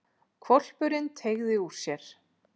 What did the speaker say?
Hvolpurinn teygði úr sér.